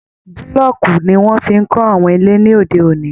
Bulọọku ni wọn fí n kọ àwọn ilé lóde òní.